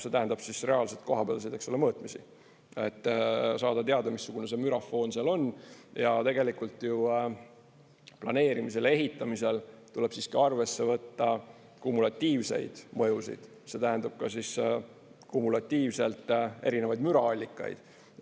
See tähendab reaalselt kohapealseid mõõtmisi, et saada teada, missugune see mürafoon seal on, ja tegelikult ju planeerimisel ja ehitamisel tuleb siiski arvesse võtta kumulatiivseid mõjusid, see tähendab, kumulatiivselt erinevaid müraallikaid.